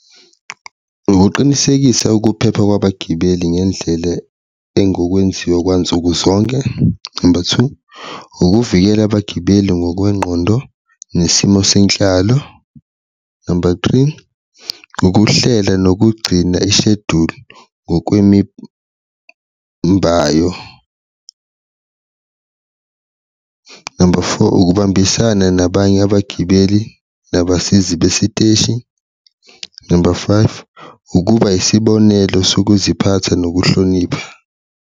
Ukuqinisekisa ukuphepha kwabagibeli ngendlela engokwenziwa kwansuku zonke, number two, ukuvikela abagibeli ngokwengqondo nesimo senhlalo, number three, ukuhlela nokugcina isheduli ngokwemimbayo, number four, ukubambisana nabanye abagibeli nabasizi besiteshi, number five, ukuba isibonelo sokuziphatha nokuhlonipha.